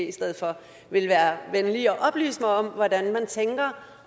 i stedet for vil være venlig at oplyse mig om hvordan man tænker